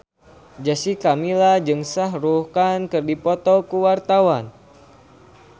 Jessica Milla jeung Shah Rukh Khan keur dipoto ku wartawan